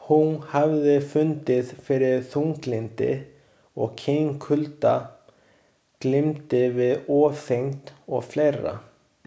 Hún hafði fundið fyrir þunglyndi og kynkulda, glímdi við ofþyngd og fleira.